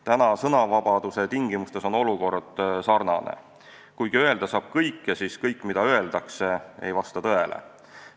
Praeguse sõnavabaduse tingimustes on olukord sarnane: öelda saab küll kõike, aga kõik, mida öeldakse, ei vasta tõele.